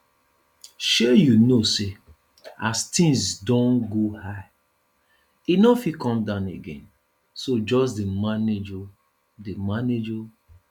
shey you know say as things don go high e no fit come down again so just dey manage oo dey manage oo